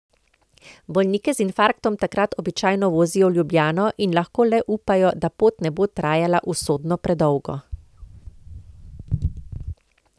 Bolnike z infarktom takrat običajno vozijo v Ljubljano in lahko le upajo, da pot ne bo trajala usodno predolgo.